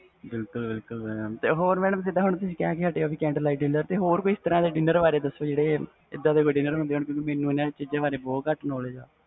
ਬਿਲਕੁਲ ਬਿਲਕੁਲ mam